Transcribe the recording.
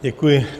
Děkuji.